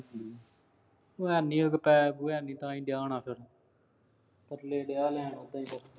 ਓ ਹੈ ਨੀ ਉਹਦੇ ਕੋਲ ਪੈਸੇ ਪੂਸੈ ਹੈ ਨੀ। ਤਾਂ ਹੀ ਹੋਣਾ ਫੇਰ।